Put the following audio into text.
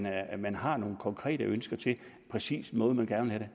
er man har nogle konkrete ønsker til en præcis måde man gerne vil